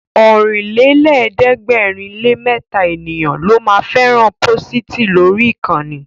Ọ̀rìnlélẹ̀ẹ́dẹ́gbèrinlémẹta ènìyàn ló ma fẹ́ràn pósìtì lórí ìkànnì